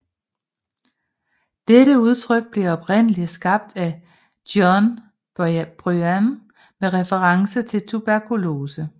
Dette udtryk blev oprindeligt skabt af John Bunyan med reference til tuberkulose